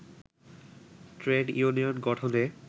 trade union গঠনে